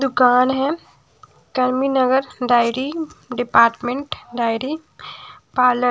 दुकान है टर्मी नगर डायरी डिपार्टमेंट डायरी पार्लर --